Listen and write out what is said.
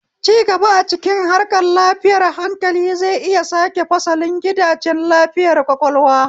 Cigaba a cikin harkar lafiyar hankali zai iya sake fasalin gidajen lafiyar ƙwaƙwalwa.